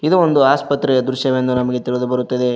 ಇದು ಒಂದು ಆಸ್ಪತ್ರೆಯ ದೃಶ್ಯವೆಂದು ನಮಗೆ ತಿಳಿದು ಬರುತ್ತದೆ.